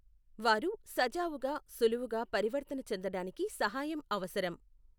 వారు సజావుగా సులువుగా పరివర్తన చెందడానికి సహాయం అవసరం.